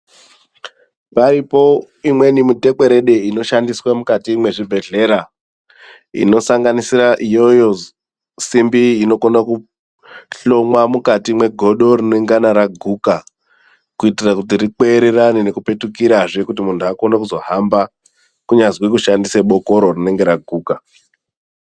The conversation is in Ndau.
Paripo imweni mitekwerede inoshandiswa mukati mwezvibhedhleya inosanganisira iyoyo simbi inokona kuhlongwa mukati mwegodo rinengana raguka kuti rikweererane nekupetukirazve kuti muntu azokone kuzohamba kunyazwi kushandise bokoro rinenge raguka.